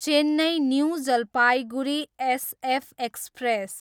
Chennai, new Jalpaiguri SF express